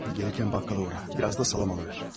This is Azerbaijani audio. Gələrkən dükançıya dəy, bir az da kolbasa alıb ver.